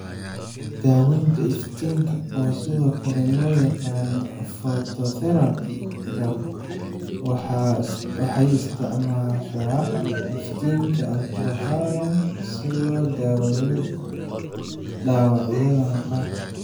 Daawaynta Iftiinka, oo sidoo kale loo yaqaan phototherapy-ka, waxay isticmaashaa iftiinka ultraviolet si loo daweeyo dhaawacyada maqaarka.